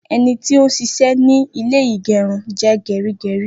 Ení tí o n ṣiṣẹ́ ní ilé ìgérun je gerígerí